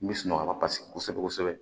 N bɛ sunɔgɔ la paseke kosɛbɛ kosɛbɛ